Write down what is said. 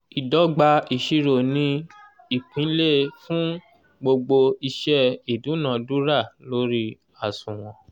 ìdọ́gba ìṣirò ni ìpìlè fún gbogbo iṣẹ́ ìdúnadúrà lórí àṣùwọ̀n